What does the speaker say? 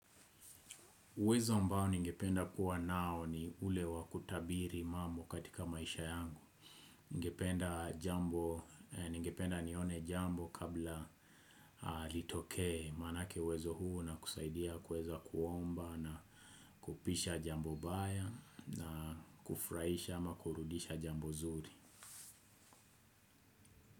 Uwezo ambao ningependa kuwa nao ni ule wa kutabiri mambo katika maisha yangu. Ningependa jambo, ningependa nione jambo kabla litokee manake uwezo huo unakusaidia kuweza kuomba na kupisha jambo baya na kufurahisha ama kurudisha jambo zuri.